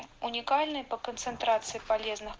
уникальные по концентрации полезных